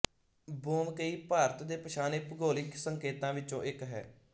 ਬੋਮਕਈ ਭਾਰਤ ਦੇ ਪਛਾਣੇ ਭੂਗੋਲਿਕ ਸੰਕੇਤਾਂ ਵਿਚੋਂ ਇਕ ਹੈ